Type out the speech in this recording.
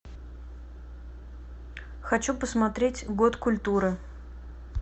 хочу посмотреть год культуры